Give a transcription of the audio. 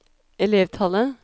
elevtallet